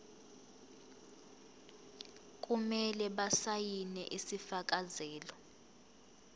kumele basayine isifakazelo